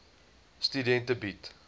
studente bied